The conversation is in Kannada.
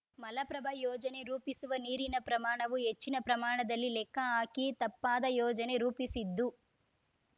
ಮಲಪ್ರಭಾ ಯೋಜನೆ ರೂಪಿಸುವ ನೀರಿನ ಪ್ರಮಾಣವು ಹೆಚ್ಚಿನ ಪ್ರಮಾಣದಲ್ಲಿ ಲೆಕ್ಕ ಹಾಕಿ ತಪ್ಪಾದ ಯೋಜನೆ ರೂಪಿಸಿದ್ದು